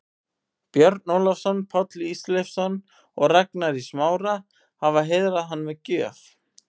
Björn Ólafsson, Páll Ísólfsson og Ragnar í Smára, hafa heiðrað hann með gjöf.